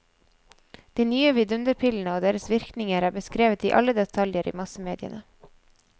De nye vidunderpillene og deres virkninger er beskrevet i alle detaljer i massemediene.